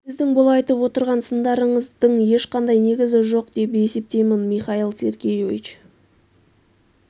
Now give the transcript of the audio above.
сіздің бұл айтып отырған сындарыңыздың ешқандай негізі жоқ деп есептеймін михаил сергеевич